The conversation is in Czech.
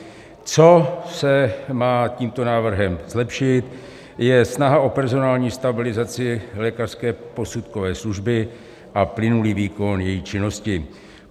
Co se má tímto návrhem zlepšit, je snaha o personální stabilizaci lékařské posudkové služby a plynulý výkon její činnosti.